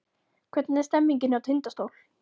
Hvernig er stemningin hjá Tindastól?